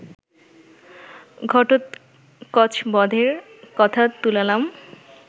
ঘটোৎকচবধের কথা তুলালাম